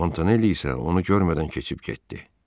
Montaneli isə onu görmədən keçib getdi.